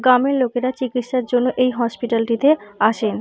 গ্রামের লোকেরা চিকিৎসার জন্য এই হসপিটাল -টিতে আসেন।